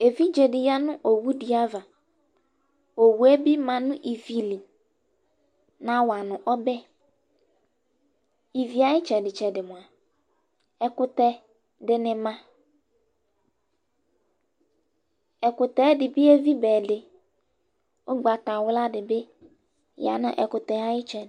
Evidze dɩ ya nʋ owu dɩ ava Owu yɛ bɩ ma nʋ ivi li, nawa nʋ ɔbɛ Ivi yɛ ayʋ ɩtsɛdɩ-tsɛdɩ mʋa, ɛkʋtɛ dɩnɩ ma Ɛkʋyɛ yɛ ɛdɩ bɩ evi ba ɛdɩ Ʋgbatawla dɩ bɩ ya nʋ ɛkʋtɛ yɛ ayʋ ɩtsɛdɩ